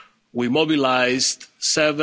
raised. We mobilised